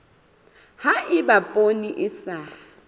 ha eba poone e sa